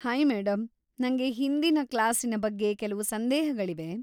Hi madam, ನಂಗೆ ಹಿಂದಿನ ಕ್ಲಾಸಿನ ಬಗ್ಗೆ ಕೆಲವು ಸಂದೇಹಗಳಿವೆ.